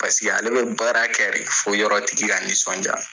Paseke ale be baara kɛ de fɔ yɔrɔ tigi ka nisɔndiya